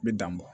N bɛ dan bɔ